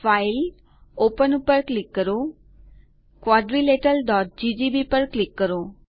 file open પર click કરો quadrilateralજીજીબી પર ક્લિક કરો